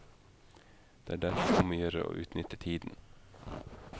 Det er derfor om å gjøre å utnytte tiden.